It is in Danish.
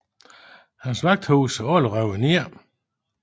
Hans vagthuse er alle revet ned